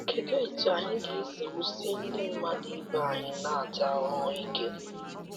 Kedụ etú anyị ga esi wusie Ndị mmadu ibe anyị na - ata ahụhụ ike?